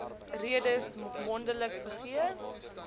redes mondeliks gegee